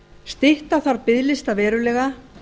stytta þarf biðlista verulega